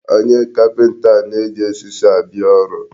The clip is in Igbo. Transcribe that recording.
Onye kapịnta a na-eji osisi abịa ọrụ.